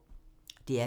DR P2